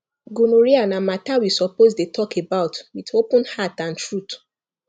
gonorrhea na matter we suppose dey talk about with open heart and truth